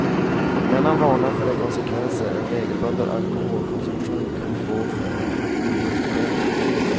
Men han varnar för de konsekvenser en regelbunden alkoholkonsumtion kan få för en idrottsutövare.